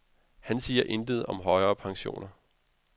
Han siger intet om højere pensioner.